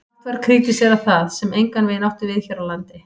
Hart var krítiserað það, sem engan veginn átti við hér á landi.